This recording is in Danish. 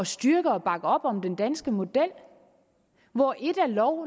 styrke og bakke op om den danske model hvor ét er lov